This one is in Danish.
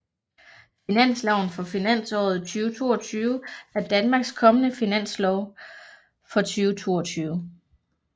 Finansloven for finansåret 2022 er Danmarks kommende finanslov for 2022